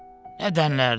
Nə dənlərdim.